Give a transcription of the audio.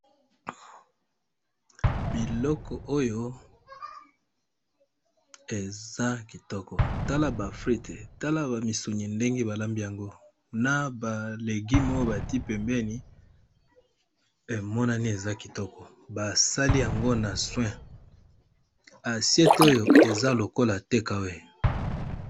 Biloko oyo eza kitoko tala ba frite tala ba misuni ndenge ba lambi yango na ba legime oyo batie pembeni emonani eza kitoko ba .sali yango na soin asiete oyo eza lokola tekawe